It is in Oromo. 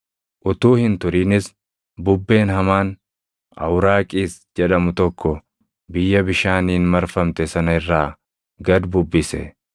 Utuu hin turinis bubbeen hamaan, “Awuraaqiis” jedhamu tokko biyya bishaaniin marfamte sana irraa gad bubbise.